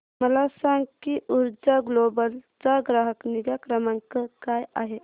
मला सांग की ऊर्जा ग्लोबल चा ग्राहक निगा क्रमांक काय आहे